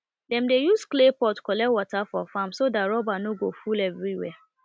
dem dey use clay pot collect water for farm so that rubber no go full everywhere